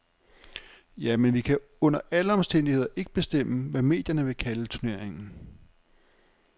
Ja, men vi kan under alle omstændigheder ikke bestemme, hvad medierne vil kalde turneringen.